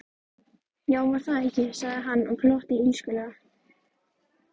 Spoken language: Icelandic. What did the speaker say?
Já, var það ekki, sagði hann og glotti illskulega.